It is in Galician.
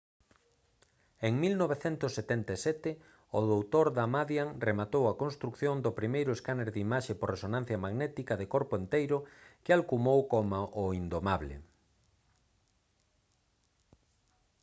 en 1977 o dr. damadian rematou a construción do primeiro escáner de imaxe por resonancia magnética de «corpo enteiro» que alcumou como o «indomable»